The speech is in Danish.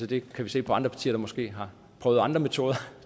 det kan vi se på andre partier der måske har prøvet andre metoder